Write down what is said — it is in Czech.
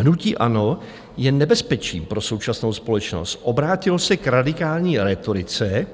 Hnutí ANO je nebezpečím pro současnou společnost, obrátilo se k radikální rétorice"